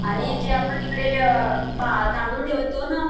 आणि जे आपण इकडे तांदूळ ठेवतो न